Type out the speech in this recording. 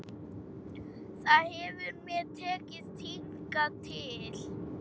Það hefur mér tekist hingað til.